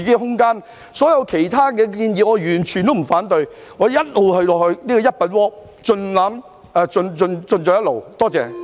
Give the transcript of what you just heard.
對於所有其他建議，我全部都不反對，我亦一直支持好像"一品鍋"一樣共冶一爐。